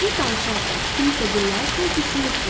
Siz danışarkən, kimisə dinləyərkən düşünürsünüz.